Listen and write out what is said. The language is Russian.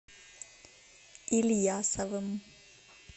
ильясовым